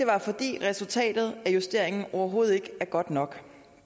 var fordi resultatet af justeringen overhovedet ikke er godt nok